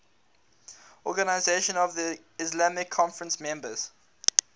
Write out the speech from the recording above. organisation of the islamic conference members